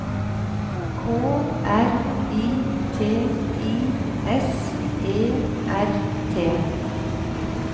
K R I T I S E R T